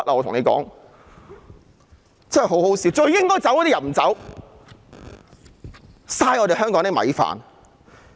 可笑的是最應該走的人不走，浪費香港的米飯。